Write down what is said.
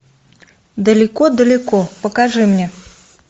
далеко далеко покажи мне